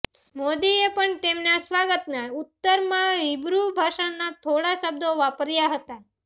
મોદીએ પણ તેમના સ્વાગતના ઉત્તરમાં હિબ્રુ ભાષાના થોડા શબ્દો વાપર્યા હતા